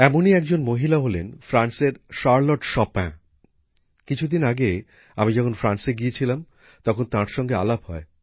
এমনই একজন মহিলা হলেন ফ্রান্সের শার্লট শোপিন কিছুদিন আগে আমি যখন ফ্রান্সে গিয়েছিলাম তখন তার সঙ্গে আলাপ হয়